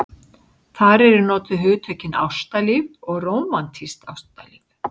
Þar eru notuð hugtökin ástalíf og rómantískt ástalíf.